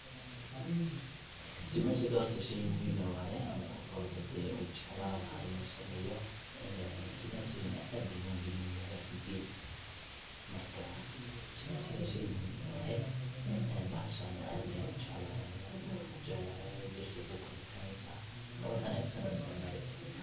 Jimicsiga horta shey muhiim eh waye oo qof walbo hadee uu jeclan laha inu sameyo, jimicsiga aad ayu muhiim uyahay runti marka shey muhiim eh waye ee bahaashana aad ayan ujeclahay aniga waxan kujeclahay waxa waye jirka ayey kukala bixineysa wa wax wanagsano isticmali karto.